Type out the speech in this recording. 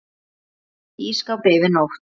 Geymt í ísskáp yfir nótt.